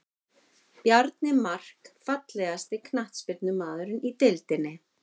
Bjarni Mark Fallegasti knattspyrnumaðurinn í deildinni?